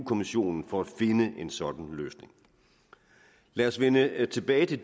kommissionen for at finde en sådan løsning lad os vende tilbage til